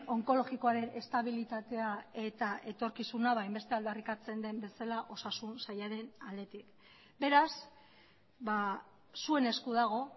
onkologikoaren estabilitatea eta etorkizuna hainbeste aldarrikatzen den bezala osasun sailaren aldetik beraz zuen esku dago